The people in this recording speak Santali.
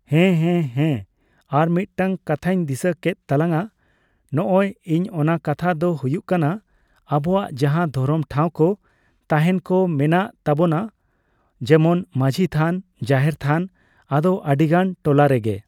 ᱦᱮᱸ ᱦᱮᱸ ᱦᱮᱸ ᱟᱨᱢᱤᱫᱴᱟᱝ ᱠᱟᱛᱷᱟᱧ ᱫᱤᱥᱟᱹ ᱠᱮᱫ ᱛᱟᱞᱟᱝᱟ ᱱᱚᱜᱚᱭ ᱤᱧ ᱚᱱᱟ ᱠᱟᱛᱷᱟ ᱫᱚ ᱦᱩᱭᱩᱜ ᱠᱟᱱᱟ ᱟᱵᱚᱣᱟᱜ ᱡᱟᱦᱟᱸ ᱫᱷᱚᱨᱚᱢ ᱴᱷᱟᱣᱠᱚ ᱛᱟᱦᱮᱱᱠᱚ ᱢᱮᱱᱟᱜ ᱛᱟᱵᱚᱱᱟ ᱡᱮᱢᱚᱱ ᱢᱟᱸᱹᱡᱷᱤ ᱛᱷᱟᱱ ᱡᱟᱦᱮᱨ ᱛᱷᱟᱱ ᱟᱫᱚ ᱟᱹᱰᱤᱜᱟᱱ ᱴᱚᱞᱟᱨᱮᱜᱮ